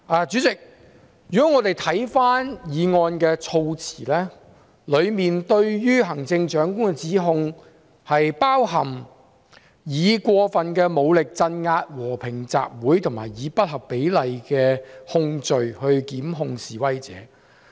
主席，我們看回議案的措辭，當中對於行政長官的指控包括"採用過份武力鎮壓和平集會"和"以不合比例的控罪打壓示威者"。